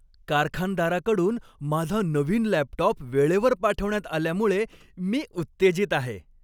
कारखानदाराकडून माझा नवीन लॅपटॉप वेळेवर पाठवण्यात आल्यामुळे मी उत्तेजित आहे.